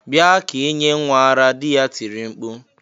bia ka inye nwa ara!" di ya tiri mkpu